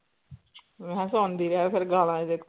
ਮੈ ਹਾ ਸੁਣਦੀ ਰਹਿ ਫੇਰ ਗੱਲਾਂ ਏਦੇ ਕੋ